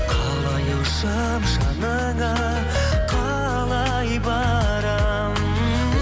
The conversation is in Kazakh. қалай ұшам жаныңа қалай барам